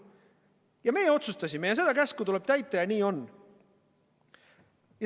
Ja me otsustasime ja seda käsku tuleb täita ja nii on.